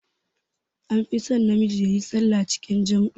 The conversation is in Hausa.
An fi son na miji yayi sallah cikin jam'i